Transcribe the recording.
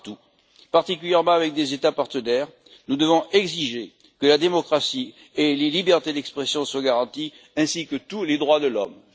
Partout, particulièrement avec des États partenaires, nous devons exiger que la démocratie et les libertés d'expression soient garanties, de même que tous les droits de l'homme.